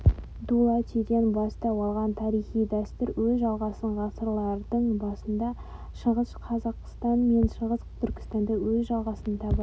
м.х дулатиден бастау алған тарихи дәстүр өз жалғасын ғасырлардың басында шығыс қазақстан мен шығыс түркістанда өз жалғасын табады